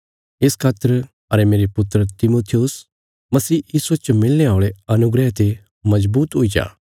इस खातर अरे मेरे पुत्र तिमुथियुस मसीह यीशुये च मिलणे औल़े अनुग्रह ते मजबूत हुई जा